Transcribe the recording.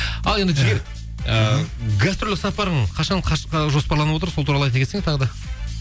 ал енді жігер ыыы гастрольдік сапарың қашан жоспарланып отыр сол туралы айта кетсең тағы да